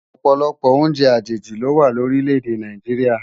Òpòlòpò óùnjè ajéji lówá lórilè-èdè Náijiriá